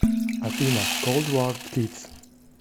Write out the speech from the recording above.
афина колд вар кидс